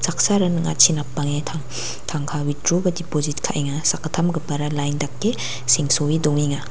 saksara ning·achi napange tang tangka witdro ba depojit ka·enga sakgittamgipara lain dake sengsoe dongenga.